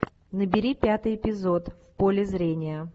набери пятый эпизод в поле зрения